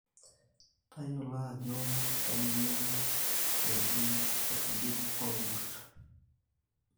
tayiolo ajo kainyioo eji err`dik oor`kurt